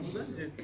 Mən yaxşı.